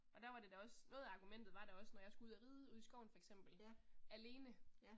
Og der var det da også, noget af argumentet var da også når jeg skulle ud og ridde ude i skoven for eksempel, alene